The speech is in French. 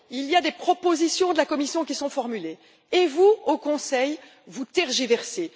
Il y a des propositions de la Commission qui sont formulées et vous, au Conseil, vous tergiversez.